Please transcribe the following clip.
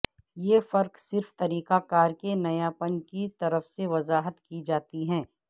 یہ فرق صرف طریقہ کار کے نیاپن کی طرف سے وضاحت کی جاتی ہے